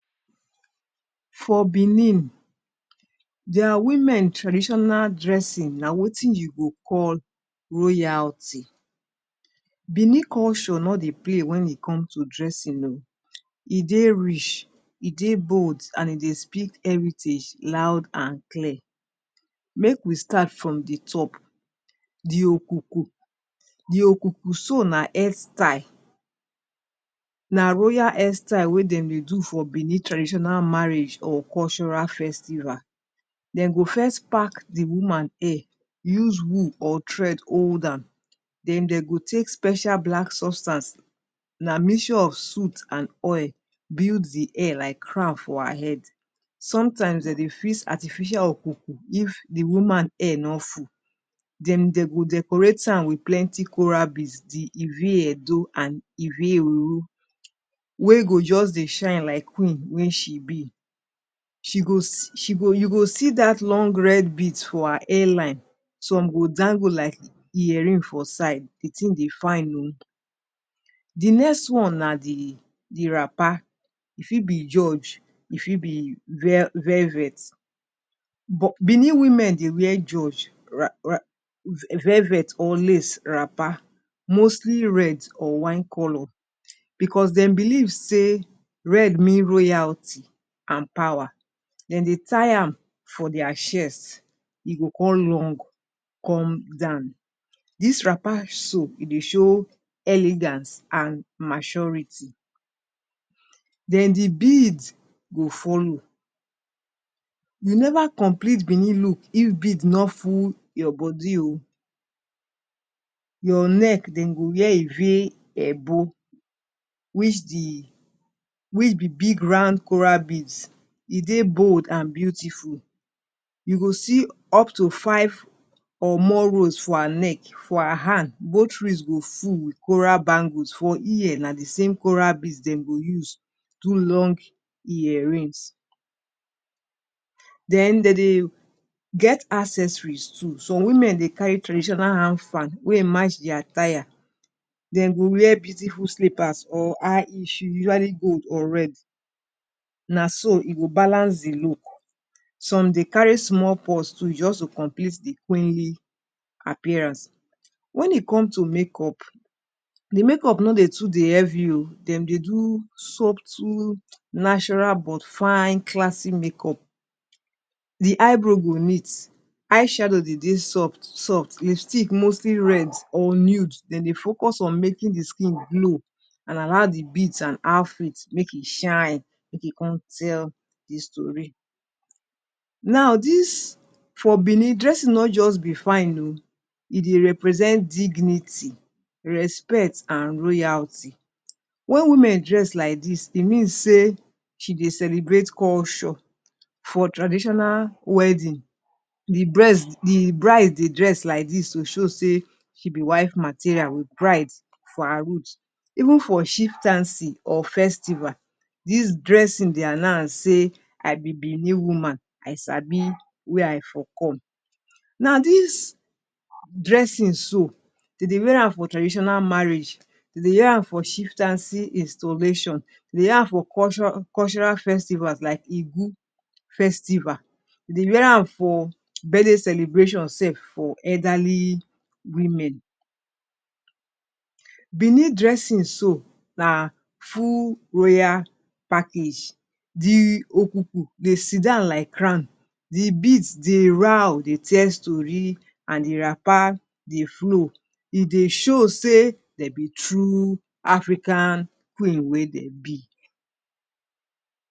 For Benin their woman traditional dressing, na wetin you go wetin you go call royalty. Benin culture no dey play when it comes to dressing oh. E dey rich, e dey bold and e speak heritage loud and clear. Make we start from de top di okuku di okuku so na hairstyle. Na royal hairstyle wey dem de do for benin traditional marriage or cultural festival. Dem go first pack de woman hair use wool or thread hold am, then dem go take special black substance na mixture of soot and oil build de hair like crown for her head. Sometimes dem dey fix artificial okuku if de woman hair no full. Then dem go dey decorate am with plenty coral beads di iri Edo and iri uru wey go just dey shine like Queen wey she be. She go she go you go see that long red bead for her hairline. Some go dangle like earring for side. di thing dey fine oh. Di next one na di wrapper; e fit be George e fit be velvet. Benin women dey wear George velvet or lace wrapper mostly red or wine colour because dem believe sey red mean royalty and power. Dem dey tie am for their chest e go come long come down. This wrapper so e dey show elegance and maturity. then de beads go follow. You never complete benin look if beads no full your body oh. Your neck dem go wear ire ebo which di which be big round Corel bead. E dey bold and beautiful. You go see up to five or more robes for her neck for her hand, both wrist go full with Corel bangle. For ear, na de small Coral bead dem go use do long earrings. Then dey dey get accessories too. Some women dey carry traditional hand fan wey e match their attire dem go wear beautiful slippers or high heels shoes usually gold or red. Na so e go balance e look. Some dey carry small purse too just to compete de queenly appearance. When e come to make up, di make up no too dey heavy oh. Dem dey do subtle natural but fine classic makeup. Di eyebrow go neat, eye shadow dey dey soft, lipstick mostly red or nude. Den dey focus on making di skin glow and allow de beads and outfit make e shine make e come tell de story. Now this, for Benin dressing no just dey fine oh e dey represent dignity respect and royalty. When women dress like this, e mean sey she dey celebrate culture for traditional wedding, di di bride dey dress like dis to show sey she be wife material with pride for her root. Even for chieftaincy or festival this dressing dey announce say I be benin woman, I sabi where I for come. Now this dressing so dem dey wear am for traditional marriage, dey dey wear am for chieftaincy installation, dey dey wear am for cultural festival like igu festival. Dey wear am for birthday celebrations self for elderly women. Benin dressing so na full royal package. Di okuku de sidown like crown, di beads de roar dey tell story and di wrapper dey flow. E dey show sey dey be true African queen wey dem be.